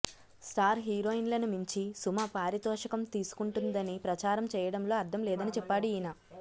star హీరోయిన్లను మించి సుమ పారితోషికం తీసుకుంటుందని ప్రచారం చేయడంలో అర్థం లేదని చెప్పాడు ఈయన